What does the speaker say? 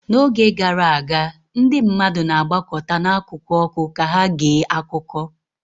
N'oge gara aga, ndị mmadụ na-agbakọta n'akụkụ ọkụ ka ha gee akụkọ